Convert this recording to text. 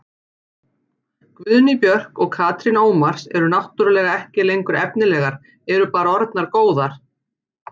Guðný Björk og Katrín Ómars eru náttúrulega ekki lengur efnilegar, eru bara orðnar góðar.